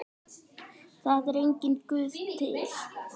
Það er enginn Guð til.